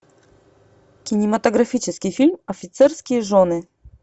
кинематографический фильм офицерские жены